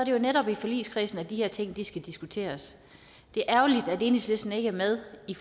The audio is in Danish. jo netop i forligskredsen de her ting skal diskuteres det er ærgerligt at enhedslisten ikke er med i